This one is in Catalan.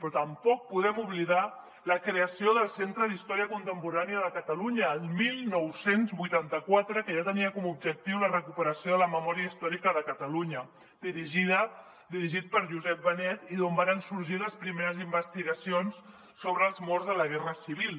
però tampoc podem oblidar la creació del centre d’història contemporània de catalunya el dinou vuitanta quatre que ja tenia com a objectiu la recuperació de la memòria històrica de catalunya dirigit per josep benet i d’on varen sorgir les primeres investigacions sobre els morts de la guerra civil